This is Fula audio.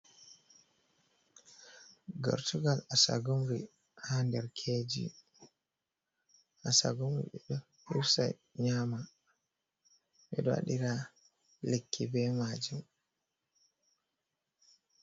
Gartugal asagumri, haa nder keeji, asagumri ɓe ɗo hirsa nyama, ɓe ɗo waɗira lekki be maajum.